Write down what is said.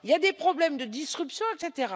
Il y a des problèmes de disruption, etc.